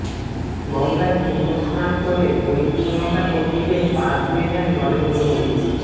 গঙ্গায় পুন্যস্নান করে পরিচ্ছন্নতাকর্মীদের পা ধুয়ে দেন নরেন্দ্র মোদি